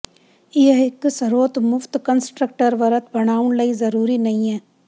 ਇਹ ਇੱਕ ਸਰੋਤ ਮੁਫ਼ਤ ਕੰਸਟਰਕਟਰ ਵਰਤ ਬਣਾਉਣ ਲਈ ਜ਼ਰੂਰੀ ਨਹੀ ਹੈ